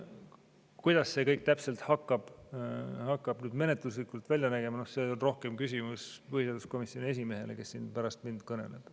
Kuidas see kõik menetluslikult hakkab täpselt välja nägema, on rohkem küsimus põhiseaduskomisjoni esimehele, kes siin pärast mind kõneleb.